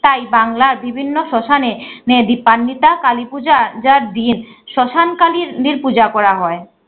তাই বাংলার বিভিন্ন শশানে নে দীপান্বিতা কালীপূজা যার দিন শশান কালিনির পূজা করা হয়।